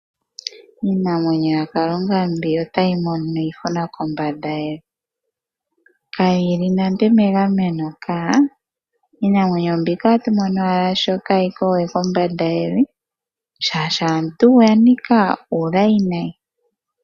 Iinamwenyo yaKalunga mbika otayi mono iihuna kombanda yevi. Kayi li nande megameno kaa. Iinamwenyo mbika otatu mono owala shi kaayi ko we kombanda yevi, oshoka aantu oya nika uulayi nayi.